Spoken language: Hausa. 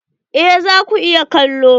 Eh za ku iya kallo.